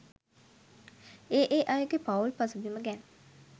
ඒ ඒ අයගේ පවුල් පසුබිම ගැන